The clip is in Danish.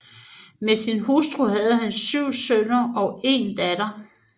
Med sin hustru havde han 7 sønner og 1 datter